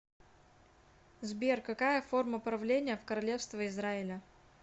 сбер какая форма правления в королевство израиля